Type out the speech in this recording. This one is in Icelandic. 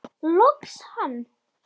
Loks hann!